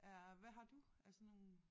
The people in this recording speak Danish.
Er hvad har du af sådan nogle?